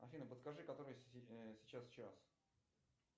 афина подскажи который сейчас час